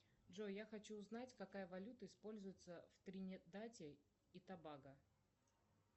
джой я хочу узнать какая валюта используется в тринидаде и тобаго